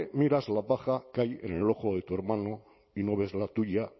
miras la paja que hay en el ojo de tu hermano y no ves la tuya